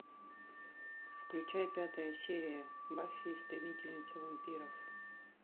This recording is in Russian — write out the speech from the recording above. включай пятая серия баффи истребительница вампиров